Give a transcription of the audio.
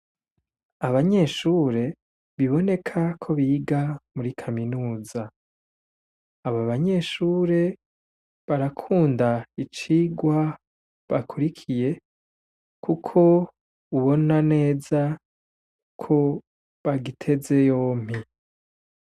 Abanyeshure biboneka ko biga muri Kaminuza , aba banyeshure barakunda icigwa bakurikiye kuko ubona neza ko bagiteze yompi.